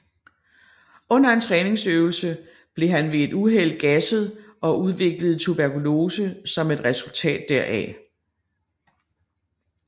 Under en træningsøvelse blev han ved et uheld gasset og udviklede tuberkulose som et resultat deraf